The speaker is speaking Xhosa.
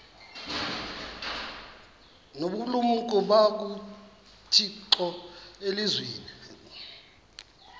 nobulumko bukathixo elizwini